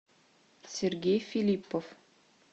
сергей филиппов